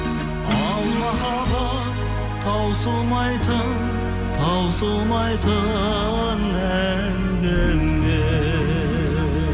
ал махаббат таусылмайтын таусылмайтын әңгіме